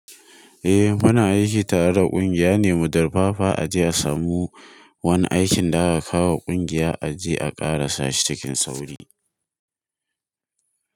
Eh, muna aiki tare da ƙungiya ne, mu darfafa a je a samu wani aikin da aka kawo wa ƙungiya a je a ƙarasa shi cikin sauri.